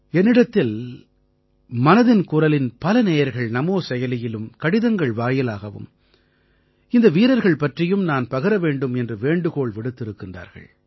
என்னிடத்தில் மனதின் குரலின் பல நேயர்கள் நமோ செயலியிலும் கடிதங்கள் வாயிலாகவும் இந்த வீரர்கள் பற்றியும் நான் பகிர வேண்டும் என்று வேண்டுகோள் விடுத்திருக்கிறார்கள்